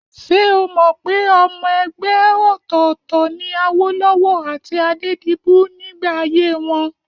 Ṣé o mọ̀ pé ọmọ ẹgbẹ́ òtọ̀ọ̀tọ̀ ni Awólọ́wọ̀ àti Adédibú nígbà ayé wọn?